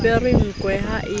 apere nkwe ha e le